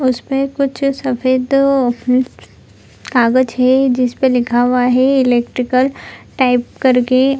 उसमें कुछ सफेद हम्म कागज है जिसपे लिखा हुआ है इलेक्ट्रिकल टाइप कर के।